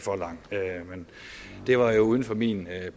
for lang men det var jo uden for min